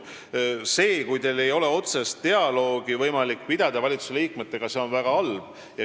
See, kui teil ei ole võimalik valitsusliikmetega otsest dialoogi pidada, on väga halb.